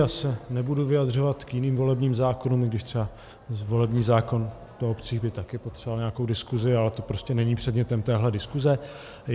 Já se nebudu vyjadřovat k jiným volebním zákonům, i když třeba volební zákon o obcích by také potřeboval nějakou diskuzi, ale to prostě není předmětem téhle diskuze.